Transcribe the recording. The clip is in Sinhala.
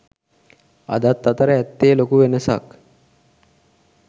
අදත් අතර ඇත්තේ ලොකු වෙනසක්.